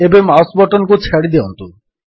ଏବେ mouse button କୁ ଛାଡ଼ିଦିଅନ୍ତୁ